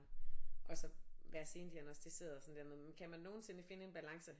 Og så være sendiagnosticeret sådan der med kan man nogensinde finde en balance